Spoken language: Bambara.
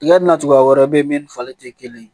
Tiga ni na cogoya wɛrɛ bɛ yen min ni falen tɛ kelen ye